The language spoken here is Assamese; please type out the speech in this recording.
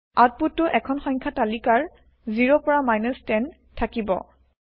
আউতপুত টো এখন সংখ্যা তালিকাৰ ০ পৰা 10 থাকিব